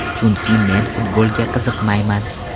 Chunki men futbolga qiziqmayman.